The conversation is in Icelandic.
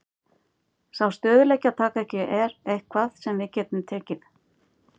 Sá stöðugleiki að taka ekki er eitthvað sem við getum tekið.